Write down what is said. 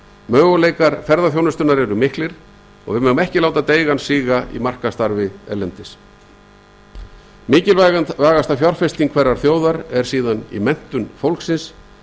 möguleikar ferðaþjónustunnar eru miklir og við megum ekki láta deigan síga í markaðsstarfi erlendis mikilvægasta fjárfesting hverrar þjóðar er í menntun fólksins